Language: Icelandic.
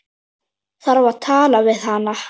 Þarf að tala við hana.